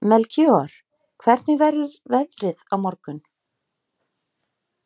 Melkíor, hvernig verður veðrið á morgun?